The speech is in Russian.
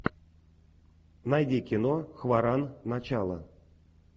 найди кино хворан начало